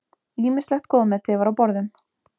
Ýmislegt góðmeti var á borðum.